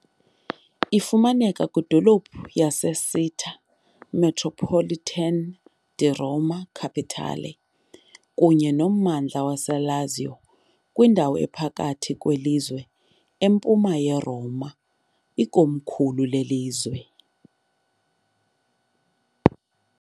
Ifumaneka kwiphondo laseCittà metropolitana di Roma Capitale kunye nommandla waseLazio, kwindawo ephakathi kwelizwe, km empuma yeRoma, ikomkhulu lelizwe.